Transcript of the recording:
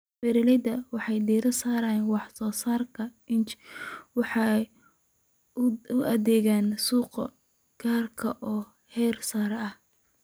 Beeraleydu waxay diiradda saaraan wax soo saarka niche waxay u adeegaan suuqyo gaar ah oo heersare ah.